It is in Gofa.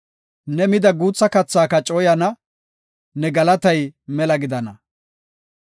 Ne mida guutha kathaaka cooyana; ne galatay mela gidana.